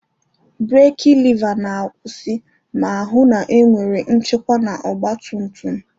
Breeki leva na-akwụsị ma hụ na enwere nchekwa na ọgba tum tum.